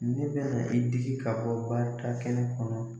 Ne bɛna i digi ka bɔ barika kɛnɛ kɔnɔ